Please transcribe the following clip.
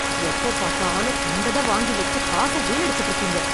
எப்போப் பார்த்தாலும் கண்டத வாங்கி வெச்சுக் காச வீணடிச்சிட்டு இருக்கீங்க!